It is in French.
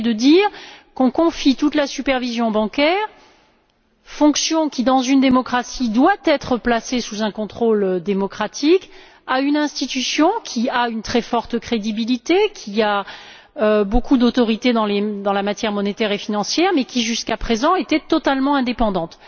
Il consistait à dire qu'on confiait toute la supervision bancaire fonction qui, dans une démocratie doit être placée sous un contrôle démocratique à une institution qui a une très forte crédibilité, qui a beaucoup d'autorité en matière monétaire et financière, mais qui, jusqu'à présent, était totalement indépendante.